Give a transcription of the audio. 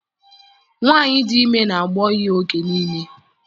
Nwaanyị dị ime na-agbọ ihe oge nille.